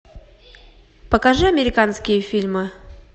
покажи американские фильмы